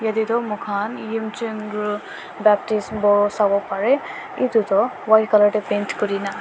yatae toh moi khan yimchugru baptist boru savo parey kintu toh white colour para paint kurina--